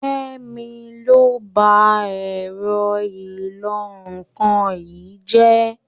Kẹ́mi ló ba ẹ̀rọ ìlọ-nǹkan yìí jẹ́.